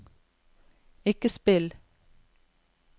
ikke spill